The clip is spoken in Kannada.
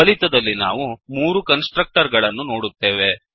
ಫಲಿತದಲ್ಲಿ ಮೂರು ಕನ್ಸ್ ಟ್ರಕ್ಟರ್ ಗಳನ್ನು ನೋಡುತ್ತೇವೆ